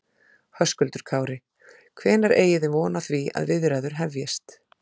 Höskuldur Kári: Hvenær eigi þið von á því að viðræður hefjist?